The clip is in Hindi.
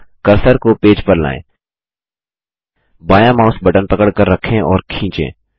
अब कर्सर को पेज पर लाएँ जीटीजीटी बायाँ माउस बटन पकड़कर रखें और खींचें